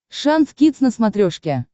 шант кидс на смотрешке